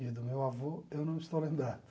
E do meu avô, eu não estou lembrado.